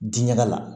Diŋɛ la